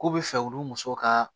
K'u bɛ fɛ ulu musow ka